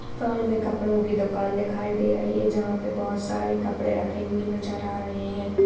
सामने कपड़ो की दुकान दिखाई दे रही है जहाँ पे (पर) बहुत सारे कपड़े रखे हुए नजर आ ।